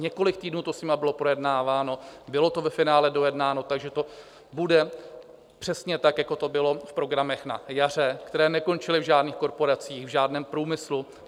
Několik týdnů to s nimi bylo projednáváno, bylo to ve finále dojednáno, takže to bude přesně tak, jako to bylo v programech na jaře, které nekončily v žádných korporacích, v žádném průmyslu.